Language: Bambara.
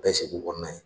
Bɛɛ segu kɔnɔna na